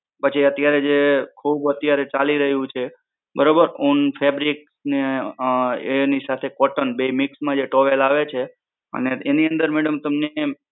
પછી અત્યારે જે ખૂબ અત્યારે ચાલી રહ્યું છે બરોબર ઉન fabric ને અમ એની સાથે cotton બેય mix માં જે towel આવે છે અને એની અંદર madam તમને